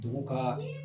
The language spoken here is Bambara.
Dugu ka